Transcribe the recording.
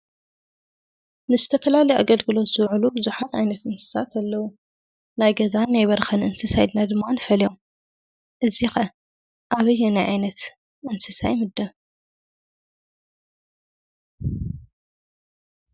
ንዝተፈላለዩ ኣገልግሎት ዝውዕሉ ብዙሓት ዓይነት እንስሳት ኣለው። ናይ ገዛን ናይ በረኻን እንስሳ ኢልና ድማ ንፈልዮም። እዚ ከ ኣበይናይ ዓይነት እንስሳ ይምደብ?